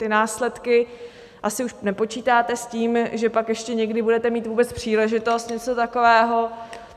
Ty následky... asi už nepočítáte s tím, že pak ještě někdy budete mít vůbec příležitost, něco takového.